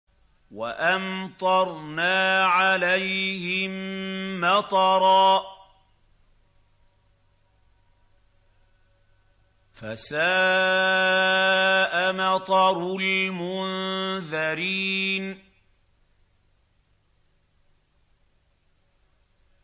وَأَمْطَرْنَا عَلَيْهِم مَّطَرًا ۖ فَسَاءَ مَطَرُ الْمُنذَرِينَ